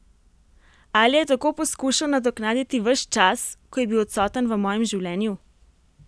Ali je tako poskušal nadoknaditi ves čas, ko je bil odsoten v mojem življenju?